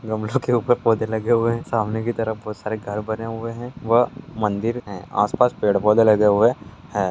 गमले के ऊपर पोधे लगे हुए हैं सामने की तरफ बहुत सारे घर बने हुए हैं व मंदिर हैं आस-पास पेड़-पौधे लगे हुए हैं।